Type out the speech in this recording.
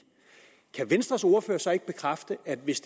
kan venstres ordfører så ikke bekræfte at hvis